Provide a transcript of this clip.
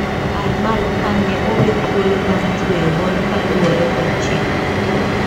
Aimal khan ne owe thuolo bang tweyo bond kaluwore kod chik.